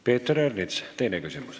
Peeter Ernits, teine küsimus.